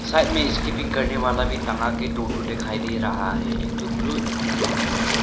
side में skipping करने वाला भी टंगाके दो ठो दिखाई दे रहा है एक ठो ब्लू एक ठो रेड दिखाई दे रहा--